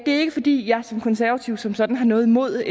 er ikke fordi jeg som konservativ som sådan har noget imod